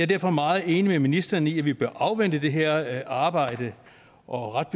derfor meget enig med ministeren i at vi bør afvente det her arbejde og ret